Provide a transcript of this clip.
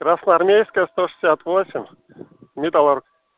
красноармейская сто шестьдесят восемь металлург